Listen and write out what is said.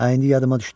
Ay indi yadıma düşdü.